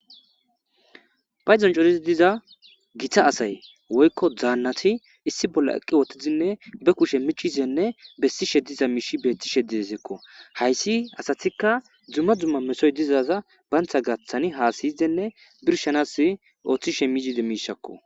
payzon corizi diza gita asay woykko daannati issi bolla eqqi wottizinne be kushe michizenne bessi shediza miishi beetti shedideseekko hayssi asatikka dzumma dzumma mesoy dizaza bayntha gaththani haasiyidenne birshanas ooththi she miside miishakko